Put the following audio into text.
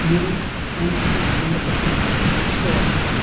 ನೀರು ಸೈನ್ಸ್ ಗೆ ಸಂಬಂಧಪಟ್ಟಂತಹ ದ್ರಶ್ಯವಾಗಿರುತ್ತದೆ.